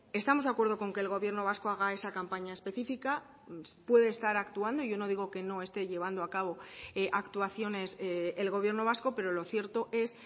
estamos de acuerdo con que el gobierno vasco haga esa campaña específica puede estar actuando yo no digo que no esté llevando a cabo actuaciones el gobierno vasco pero lo cierto es